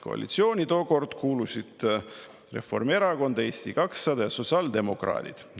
Koalitsiooni tookord kuulusid Reformierakond, Eesti 200 ja sotsiaaldemokraadid.